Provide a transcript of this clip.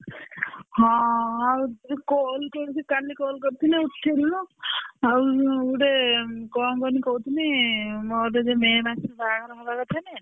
ହଁ ଆଉ ତୁ call କେମିତି କାଲି call କରିଥିଲି ଉଠେଇଲୁନୁ ଆଉ ଗୋଟେ କଣ କହନି କହୁଥିଲି ମୋର ଯୋଉ may ମାସରେ ବାହାଘର ହବା କଥା ନୁହେଁ?